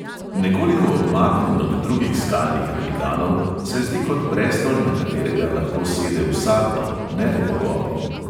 Nekoliko odmaknjen od drugih skalnih velikanov se zdi kot prestol, na katerega lahko sede vsakdo, ne le bogovi.